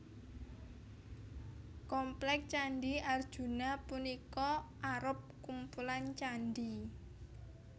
Komplék Candhi Arjuna punika arup kumpulan candhi